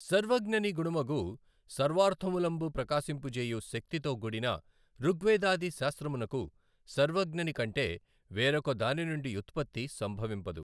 సర్వజ్ఞని గుణమగు సర్వార్థములం బ్రకాశింపజేయు శక్తితో గూడిన ఋగ్వేదాది శాస్త్రమునకు సర్వజ్ఞని కంటె వేరొక దానినుండి యుత్పత్తి సంభవింపదు.